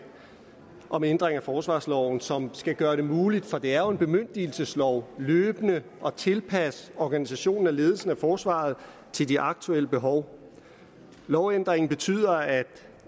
om ændring af forsvarsloven som skal gøre det muligt for det er jo en bemyndigelseslov løbende at tilpasse organisationen af ledelsen af forsvaret til de aktuelle behov lovændringen betyder at